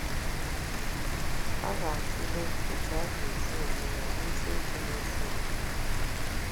A ga-atụle otú anyị ga-esi eme ya n’isiokwu na-esonụ.